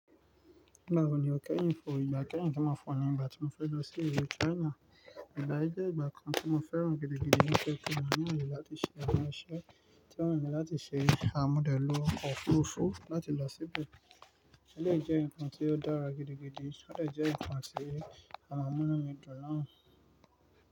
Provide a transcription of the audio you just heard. Báwo ni o kẹ́yìn fo ìgbà kẹ́yìn tí mo fo ní ìgbà tí mo fẹ́ lọ sí ìlú China? Ìgbà yí jẹ́ ìgbà kan tí mo fẹ́ràn gidi gidi nítorí pé mo ní àyè láti ṣe àwọn iṣẹ́ tí wọ́n ní láti ṣe. A mo dẹ̀ lọ ọkọ̀ òfuurufú láti lọ síbẹ̀. Elèyi jẹ́ nǹkan tí ó dára gidi gidi, ó dè jẹ́ nǹkan tí à maa mú inú mi dùn naa.